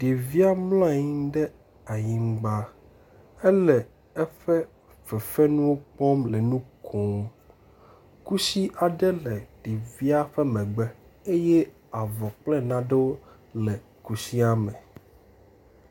Ɖevia mlɔ anyi ɖe anyigba ele eƒe fefenuwo kpɔm le nu kom. Kusi aɖe le ɖevi la ƒe megbe eye avɔ kple nanewo le kusi la me.